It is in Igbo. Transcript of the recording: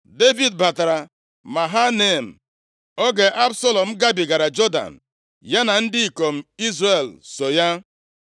Devid batara Mahanaim oge Absalọm gabigara Jọdan, ya na ndị ikom Izrel so ya.